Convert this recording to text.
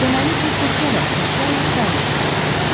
Deməli bu fırça da əşyayi dəlil sayıla bilər.